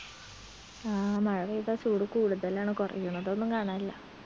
ആ മഴ പെയ്താ ചൂട് കൂടുതലാണ് കൊറയുന്നതൊന്നും കാണാനില്ല